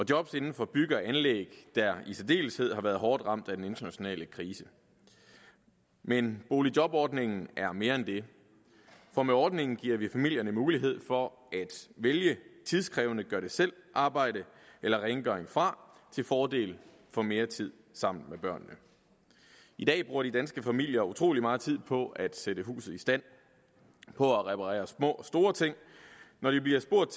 job inden for bygge og anlæg der i særdeleshed har været hårdt ramt af den internationale krise men boligjobordningen er mere end det for med ordningen giver vi familierne mulighed for at vælge tidskrævende gør det selv arbejde eller rengøring fra til fordel for mere tid sammen med børnene i dag bruger de danske familier utrolig meget tid på at sætte huset i stand på at reparere små og store ting og når de bliver spurgt